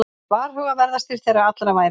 Varhugaverðastir þeirra allra væru